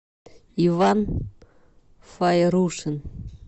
иван файрушин